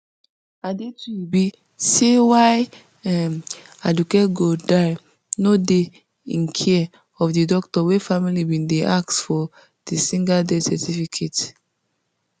adetuyibi say wia um aduke gold die no dey in care of di doctor wey family bin dey ask for di singer death certificate